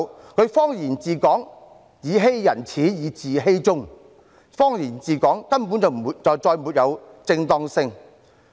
她以謊言治港，"以欺人始，以自欺終"，謊言治港，根本就再沒有正當性。